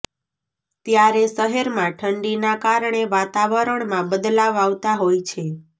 ત્યારે શહેરમાં ઠંડીના કારણે વાતાવરણમાં બદલાવ આવતા હોય છે